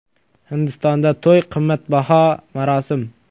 Hindistonda to‘y qimmatbaho marosim.